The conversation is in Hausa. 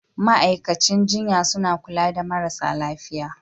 Ma'aikacin jinya suna kulla da marasa lafiya